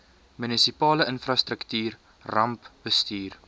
munisipale infrastruktuur rampbestuur